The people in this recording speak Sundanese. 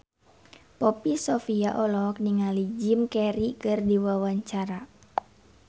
Poppy Sovia olohok ningali Jim Carey keur diwawancara